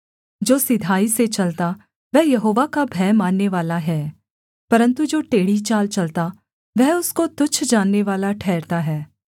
जो सिधाई से चलता वह यहोवा का भय माननेवाला है परन्तु जो टेढ़ी चाल चलता वह उसको तुच्छ जाननेवाला ठहरता है